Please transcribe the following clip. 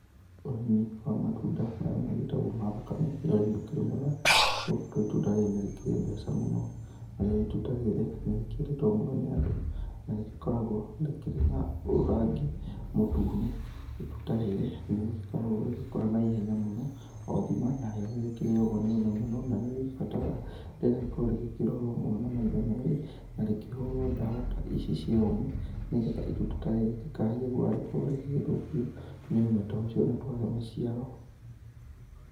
Ũrĩmi wa matunda marĩa magĩtagwo ma thakame, nĩ ũrĩmi ũkĩrĩ mwega, nĩgukorwo itunda rĩrĩ nĩrĩkĩrĩ mbeca mũno. Narĩo itunda rĩrĩ, nĩrĩkĩendetwo mũno nĩ Andũ, na rĩgĩkoragwo rĩkĩrĩ na rangi mũtune. Itunda rĩrĩ, nĩrĩkoragwo rĩgĩkũra na ihenya mũno, o thima narĩo nĩrĩgĩkĩrĩagwo nĩ ũme mũno, na rĩgĩbataraga rĩgĩkorwo rĩgĩkĩrorwo mũno na maitho merĩ. Na rĩkĩhũrwo dawa ta ici cia ũme nĩgetha itunda ta rĩrĩ rĩtikahaie gũkorwo rĩgĩgĩthũkio nĩ ũme ta ũcio na twage maciaro.